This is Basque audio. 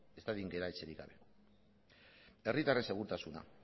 ez dadin gera etxerik gabe herritarren segurtasuna